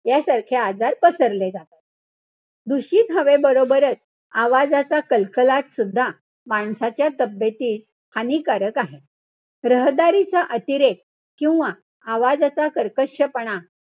यासारखे आजार पसरले जातात. दूषित हवेबरोबरच आवाजाचा कलकलाट सुद्धा माणसाच्या तब्येतीस हानिकारक आहे. रहदारीचा अतिरेक किंवा आवाजाचा कर्कशपणा,